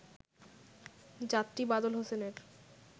যাত্রী বাদল হোসেনের